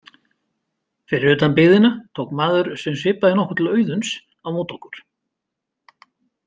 Fyrir utan byggðina tók maður sem svipaði nokkuð til Auðuns á móti okkur.